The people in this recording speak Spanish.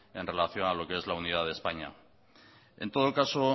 en relación a lo que es la unidad de españa en todo caso